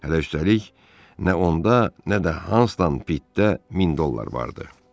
Hələ üstəlik nə onda, nə də Hanson pitdə 1000 dollar vardı.